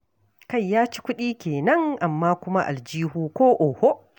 Kai ya ci kuɗi kenan, amma kuma aljihu ko oho.